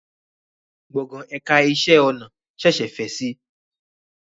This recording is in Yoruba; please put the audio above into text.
Gbọ̀ngàn ẹ̀ka ẹ̀kọ́ iṣẹ́ ọnà ṣẹ̀ṣẹ̀ fẹ̀ si